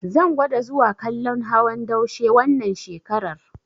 Zan gwada zuwa kallon hawan daushe wannan shekarar.